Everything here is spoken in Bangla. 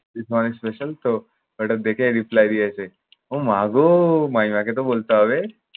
its my special তো এইটা দেখে reply দিয়েছে ওমাগো মামিমাকে তো বলতে হবে।